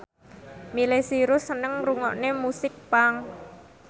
Miley Cyrus seneng ngrungokne musik punk